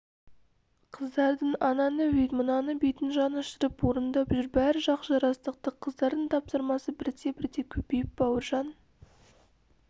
қыздардың ананы өйт мынаны бүйтін жанұшырып орындап жүр бәрі жақсы жарастықты қыздардың тапсырмасы бірте-бірте көбейіп бауыржан